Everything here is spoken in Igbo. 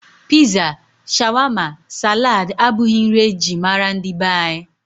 Piza, shawama, salad abụghị nri e ji mara ndị be anyị.